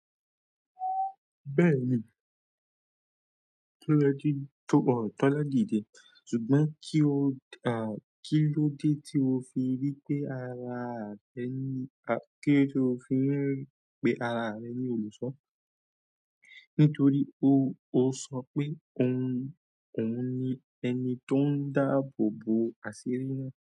Bẹ́ẹ̀ni, Tọ́lá di de, ṣùgbọ́n kí ló dé tí o fi rí pé ara rẹ ní olùṣọ́? Nítorí o sọ pé òun ni ẹni tó ń dáàbò bo àṣírí náà.